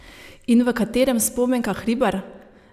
In v katerem Spomenka Hribar?